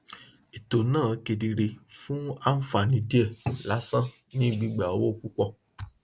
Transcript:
ètò náà kedere fún àǹfààní díẹ lásán ní gbígba owó púpọ